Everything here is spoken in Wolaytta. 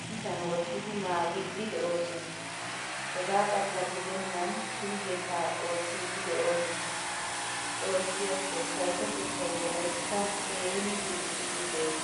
issisan wottidi naagidi deosona. Hegaa xala gidenan pilggetta oottidi deosona. Xoossi ashsho kaysotettay wolayttan keehin diccidi de'ees.